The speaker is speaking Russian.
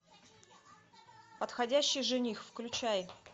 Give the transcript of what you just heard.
подходящий жених включай